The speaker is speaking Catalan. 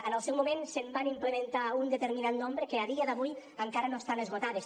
en el seu moment se’n van implementar un determinat nombre que a dia d’avui encara no estan esgotades